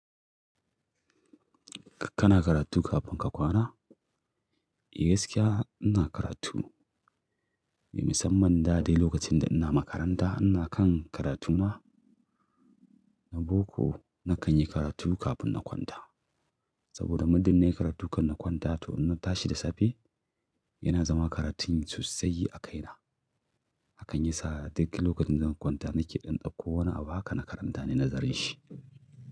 Kana karatu kafin ka kwana? Eh gaskiya ina karatu. Mai musamman da dai lokacin da ina makaranta ina kan karatu ma na boko na kan yi karatu kafin na kwanta. Saboda muddu nai karatu kan na kwanta to in na tashi da safe yana zama karatun sosai a kaina. Hakan yasa duk lokacin da zan kwanta nake ɗan tsinko wani abu haka na karanta ne nazarin shi.